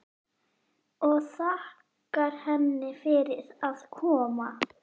Og þakkar henni fyrir að koma.